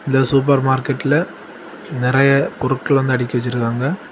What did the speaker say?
இந்த சூப்பர் மார்க்கெட்டில் நறைய பொருட்கள அடக்கி வச்சிருக்காக.